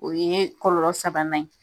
O ye kɔlɔlɔ sabanan ye.